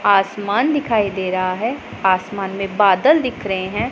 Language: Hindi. आसमान दिखाई दे रहा है आसमान में बादल दिख रहे हैं।